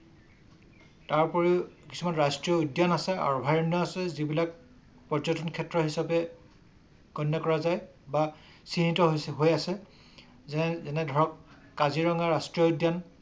তাৰোপৰি কিছুমান ৰাষ্ট্ৰীয় উদ্যান আছে অভআয়ৰণ্য আছে যিবিলাক পৰ্যটনৰ ক্ষেত্ৰ হিচাপে গণ্য কৰা যায় বা চিহ্নিত হৈ আছে যেনে যেনেধৰক কাজিৰঙা ৰাষ্ট্ৰীয় উদ্যান ।